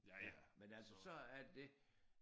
Ja men altså så er det